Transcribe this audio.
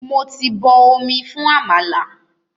Mo ti bọ omi fún àmàlà.